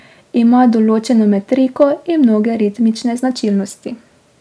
Ima določeno metriko in mnoge ritmične značilnosti.